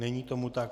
Není tomu tak.